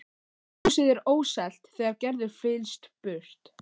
Húsið er óselt þegar Gerður flyst burtu